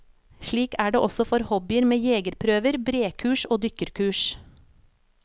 Slik er det også for hobbyer med jegerprøver, brekurs og dykkerkurs.